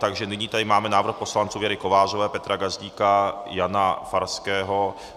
Takže nyní tady máme návrh poslanců Věry Kovářové, Petra Gazdíka, Jana Farského...